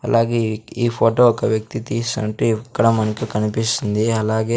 అలాగే ఈ ఫోటో ఒక వ్యక్తి తీస్సుంటే ఇక్కడ మనకు కనిపిస్తుంది అలాగే--